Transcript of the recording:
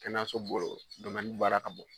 Kɛnɛyaso bolo baara ka bon